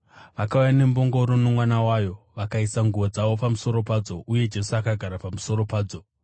Vakauya nembongoro nomwana wayo, vakaisa nguo dzavo pamusoro padzo, uye Jesu akagara pamusoro padzo.